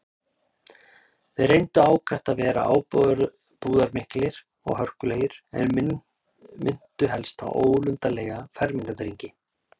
Þeir reyndu ákaft að vera ábúðarmiklir og hörkulegir, en minntu helst á ólundarlega fermingardrengi.